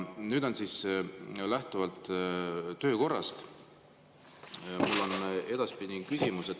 Lähtuvalt töökorrast on mul küsimus.